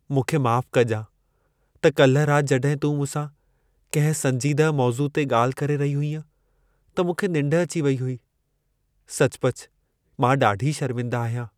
मूंखे माफ़ु कजां त काल्हि राति जड॒हिं तूं मूंसां कंहिं संजीदह मौज़ूअ ते ॻाल्हि करे रही हुईअं त मूंखे निंढ अची वेई हुई। सचुपचु मां ॾाढी शर्मिंदा आहियां।